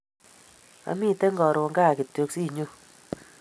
Amiten karun gaa kityok sinyon